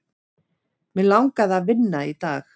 Mig langaði að vinna í dag.